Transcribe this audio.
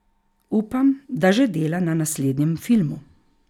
Upam, da že dela na naslednjem filmu.